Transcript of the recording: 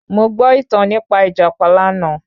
Mo gbọ́ ìtàn nípa Ìjàpá lánàá